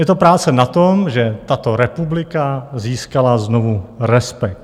Je to práce na tom, že tato republika získala znovu respekt.